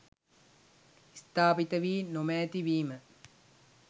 ස්ථාපිත වී නොමෑති වීම.